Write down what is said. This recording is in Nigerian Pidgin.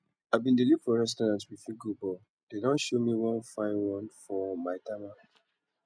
i bin dey look for restaurant we fit go but dare don show me one fine one for maitama